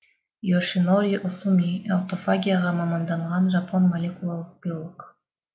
йошинори осуми аутофагияға маманданған жапон молелекулалық биолог